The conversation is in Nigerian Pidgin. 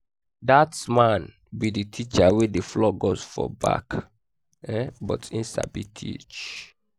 dat man be the teacher wey dey flog us for back um but he sabi teach